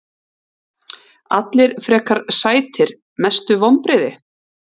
Allir frekar sætir Mestu vonbrigði?